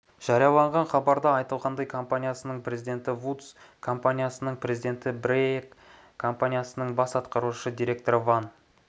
жарияланған хабарда айтылғандай компаниясының президенті вудс іі компаниясының президенті брейяк компаниясының бас атқарушы директоры ван